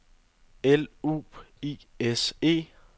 L U I S E